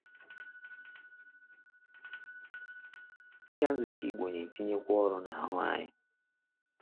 Ịga nzukọ Igbo na-etinyekwa ọrụ n’ahụ anyị.